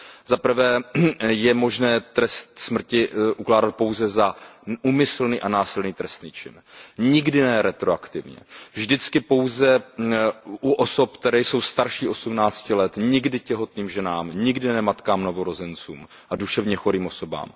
Za prvé, je možné trest smrti ukládat pouze za úmyslný a násilný trestný čin, nikdy ne retroaktivně, vždy pouze osobám, které jsou starší osmnácti let, nikdy ne těhotným ženám, matkám novorozenců a duševně chorým osobám.